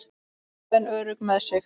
Ákveðin og örugg með sig.